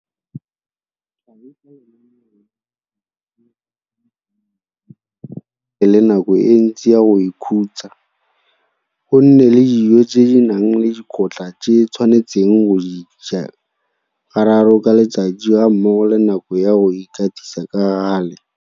Tlhagisa lenaneo la ditiro tse a tshwanetseng go di dira mme go nne le nako e ntsi ya go ikhutsa, go nne le dijo tse di nang le dikotla tse a tshwanetseng go di ja gararo ka letsatsi gammogo le nako ya go ikatisa ka gale.